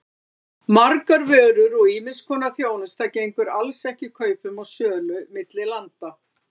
Margar vörur og ýmiss konar þjónusta gengur alls ekki kaupum og sölu milli landa.